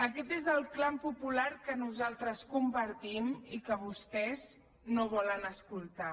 aquest és el clam popular que nosaltres compartim i que vostès no volen escoltar